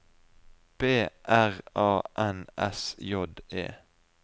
B R A N S J E